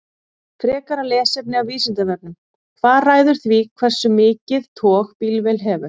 Frekara lesefni af Vísindavefnum: Hvað ræður því hversu mikið tog bílvél hefur?